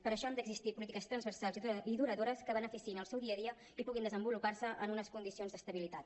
per això han d’existir polítiques transversals i duradores que beneficiïn el seu dia a dia i puguin desenvolupar se en unes condicions d’estabilitat